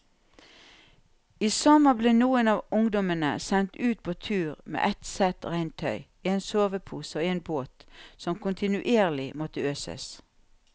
I sommer ble noen av ungdommene sendt ut på tur med ett sett regntøy, en sovepose og en båt som kontinuerlig måtte øses.